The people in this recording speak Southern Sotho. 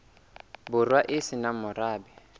borwa e se nang morabe